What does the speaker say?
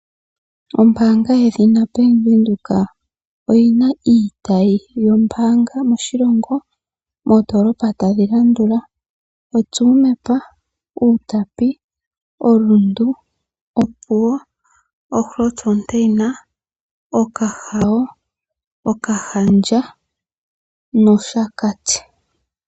Ombaanga yedhina Bank Windhoek oyi na iitayi yombaanga moshilongo moondoolopa ta dhi landula: Tsumeb, Outapi, Rundu, Opuwo, Grootfontein, Okahao, Okahandja nOshakati.